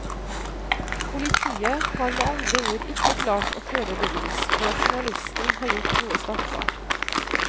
Politiet har med andre ord ikke klart å føre bevis for at journalisten har gjort noe straffbart.